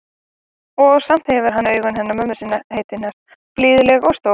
Og samt hefur hann augun hennar mömmu heitinnar, blíðleg og stór.